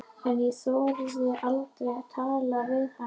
En ég þorði aldrei að tala við hana.